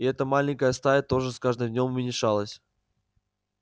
и эта маленькая стая тоже с каждым днём уменьшалась